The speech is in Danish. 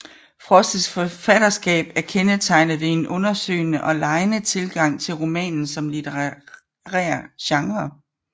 Frosts forfatterskab er kendetegnet ved en undersøgende og legende tilgang til romanen som litterær genre